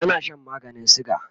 tana Shan maganin suga